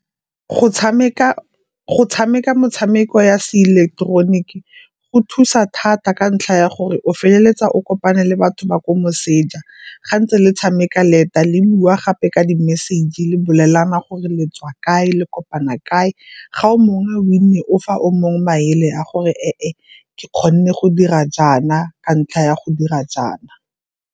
go tshameka motshameko ya se ileketeroniki go thusa thata ka ntlha ya gore o feleletsa o kopane le batho ba kwa moseja. Ga ntse le tshameka leta le buiwa ga gape ka di-message le bolelana gore letswa kae le kopana kae, ga o mongwe a win-e o fa o mongwe maele a gore, e e ke kgone go dira jaana ka ntlha ya go dira jaana.